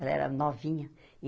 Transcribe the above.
Ela era novinha.